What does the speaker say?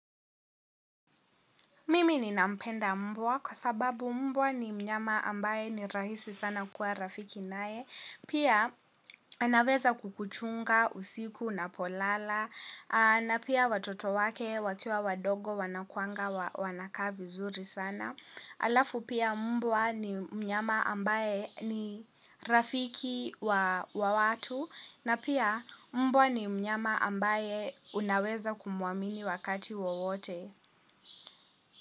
Mimi ni nampenda mbwa kwa sababu mbwa ni mnyama ambaye ni rahisi sana kuwa rafiki naye. Pia anaweza kukuchunga usiku unapolala na pia watoto wake wakiwa wadogo wanakuanga wanakaa vizuri sana. Alafu pia mbwa ni mnyama ambaye ni rafiki wa watu na pia mbwa ni mnyama ambaye unaweza kumuamini wakati wowote.